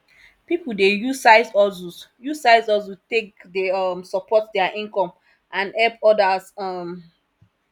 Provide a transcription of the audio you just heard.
pipu dey use sidehustles use sidehustles take dey um support dia income and help odas um